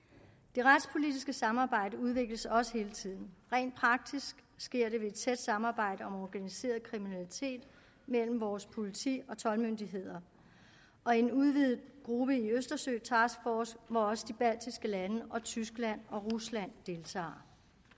det retspolitiske samarbejde udvikles også hele tiden rent praktisk sker det ved et tæt samarbejde om organiseret kriminalitet mellem vores politi og toldmyndigheder og i en udvidet gruppe i østersøtaskforce hvor også de baltiske lande og tyskland og rusland deltager